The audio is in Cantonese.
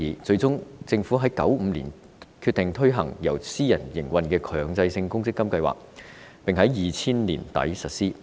最終，政府在1995年決定推行由私人營運的強積金計劃，並在2000年年底實施。